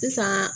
Sisan